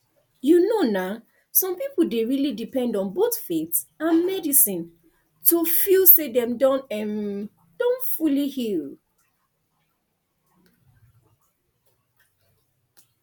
you know na some people dey really depend on both faith and medicine to feel say dem um don fully heal